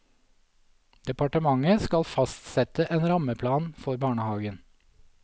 Departementet skal fastsette en rammeplan for barnehagen.